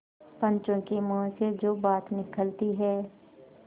पंचों के मुँह से जो बात निकलती है